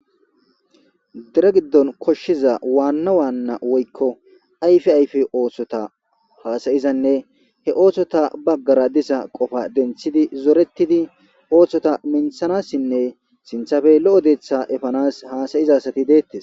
dere giddon koshshiza waanna waanna woykko ayfe ayfe oosota haasayizanne he oosota baggara disa qofa denthidi zoretidi oohsota minthanassinne sinthafe lo7o deeththa efanas haasayizasati deettes.